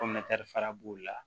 fara b'o la